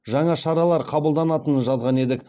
жаңа шаралар қабылданатынын жазған едік